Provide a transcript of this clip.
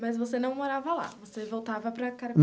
Mas você não morava lá, você voltava para